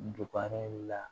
Dukɔnɔla